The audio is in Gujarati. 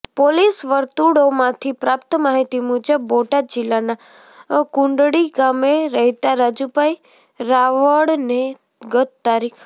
પોલીસ વર્તુળોમાંથી પ્રાપ્ત માહિતી મુજબ બોટાદ જિલ્લાના કુંડળી ગામે રહેતાં રાજુભાઈ રાવળને ગત તા